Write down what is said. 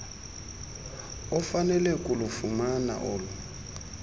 ofanele kulufumana olu